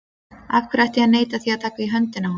Af hverju ætti ég að neita því að taka í höndina á honum?